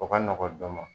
O ka nɔgɔn dɔnni